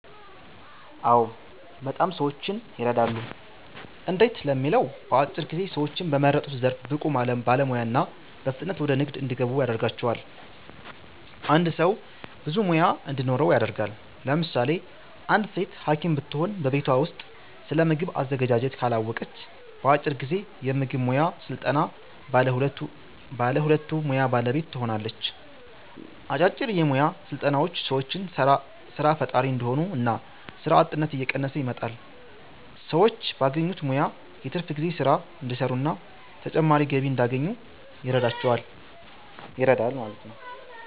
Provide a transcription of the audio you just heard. አዎ! በጣም ሰዎችን የረዳሉ። እንዴት ለሚለው በአጭር ጊዜ ሰዎችን በመረጡት ዘርፍ ብቁ ባለሙያ እና በፍጥነት ወደ ንግድ እንዲገቡ ያደርጋቸዋል። አንድ ሰው ብዙ ሙያ እንዲኖረው ያደርጋል። ለምሳሌ አንዲት ሴት ሀኪም ብትሆን በቤቷ ውስጥ ስለምግብ አዘገጃጀት ካላወቀች በአጭር ጊዜ የምግብ ሙያ ሰልጥና ባለ ሁለቱ ሙያ ባለቤት ትሆናለች። አጫጭር የሞያ ስልጠናዎች ሰዎችን ሰራ ፈጣሪ እንዲሆኑ እና ስራ አጥነት እየቀነሰ ይመጣል። ሰዎች ባገኙት ሙያ የትርፍ ጊዜ ስራ እንዲሰሩና ተጨማሪ ገቢ እንዲያገኙ ይረዳል።